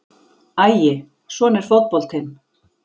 Æi, svona er fótboltinn.